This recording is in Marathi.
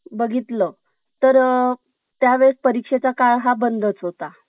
बघितलं तर अ त्यावेळेस परीक्षे चा काळ हा बंदच होता